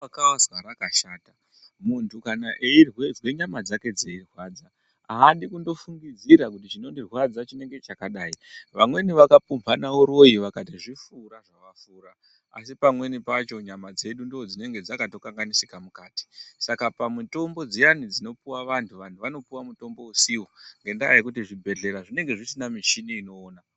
Izwa vakazwa rakashata muntu kana eizwa nyama dzake dzeirwadza haadi kundofungidzira kuti chinondirwadza chinenge chakadai. Vamweni vakapumhana uroi vakati zvifura zvavafura asi pamweni pacho nyama dzedu ndodzinenge dzakatokanganisika mukati. Saka pamutombo dziyani dzinopuva vantu vantu vanopuva mutombo usivo ngendaa yekuti zvibhedhlera zvinenge zvisina michini inoona.